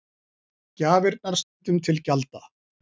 Gjafirnar stundum til gjalda